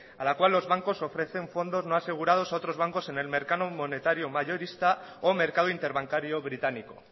a la cual los bancos ofrecen fondos no asegurados a otros bancos en el mercado monetario mayorista o mercado interbancario británico